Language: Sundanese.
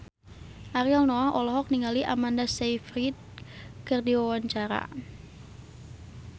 Ariel Noah olohok ningali Amanda Sayfried keur diwawancara